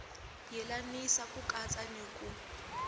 yelanisa ku katsa ni ku